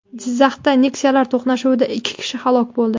Jizzaxda Nexia’lar to‘qnashuvida ikki kishi halok bo‘ldi.